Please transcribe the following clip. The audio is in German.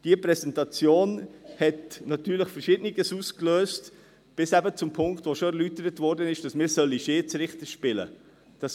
Diese Präsentation hat natürlich Verschiedenes ausgelöst, bis eben zum Punkt, der schon erläutert wurde, wonach wir Schiedsrichter spielen sollen.